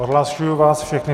Odhlašuji vás všechny.